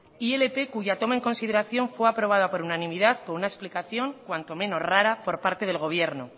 ilp cuya toma en consideración fue aprobada por unanimidad con una explicación cuanto menos rara por parte del gobierno